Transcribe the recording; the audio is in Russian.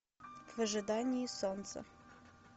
в ожидании солнца